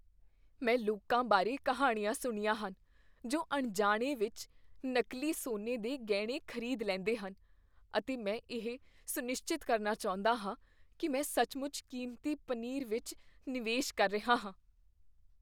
ਮੈਂ ਲੋਕਾਂ ਬਾਰੇ ਕਹਾਣੀਆਂ ਸੁਣੀਆਂ ਹਨ ਜੋ ਅਣਜਾਣੇ ਵਿੱਚ ਨਕਲੀ ਸੋਨੇ ਦੇ ਗਹਿਣੇ ਖ਼ਰੀਦ ਲੈਂਦੇ ਹਨ, ਅਤੇ ਮੈਂ ਇਹ ਸੁਨਿਸ਼ਚਿਤ ਕਰਨਾ ਚਾਹੁੰਦਾ ਹਾਂ ਕੀ ਮੈਂ ਸੱਚਮੁੱਚ ਕੀਮਤੀ ਪਨੀਰ ਵਿੱਚ ਨਿਵੇਸ਼ ਕਰ ਰਿਹਾ ਹਾਂ।